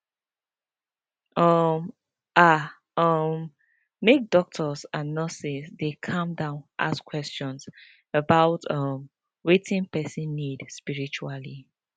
um ah um make doctors and nurses dey calm down ask question about um wetin person need spritually